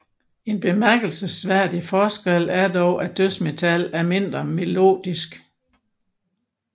En bemærkelsesværdig forskel er dog at dødsmetal er mindre melodisk